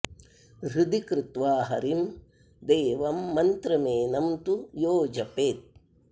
हृदि कृत्वा हरिं देवं मन्त्रमेनं तु यो जपेत्